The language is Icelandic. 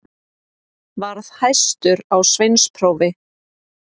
Varð hæstur á sveinsprófi.